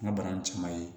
N ka bana in caman ye